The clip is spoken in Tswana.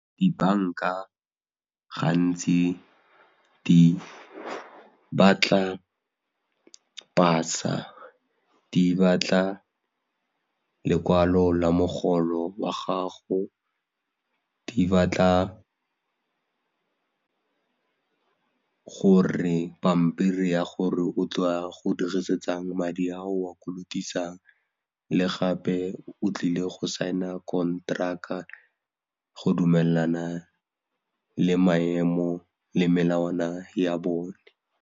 Dibanka gantsi di batla pasa, di batla lekwalo la mogolo wa gago, di batla gore pampiri ya gore o tla go dirisetsang madi a o a kolotisang le gape o tlile go saena kontraka go dumelana le maemo le melawana ya bone.